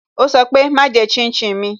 Ó sọ pé "Má jẹ́ shin shin mi"